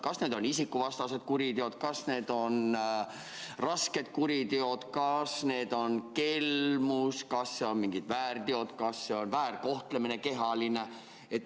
Kas need on isikuvastased kuriteod, kas need on rasked kuriteod, kas need on kelmused, kas on mingid väärteod, kas see on kehaline väärkohtlemine?